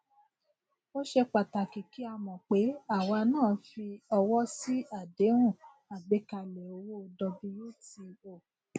ó ṣe pàtàkì kí a mọ pé àwa náà fi ọwọ sí àdéhùn àgbékalẹ òwò wto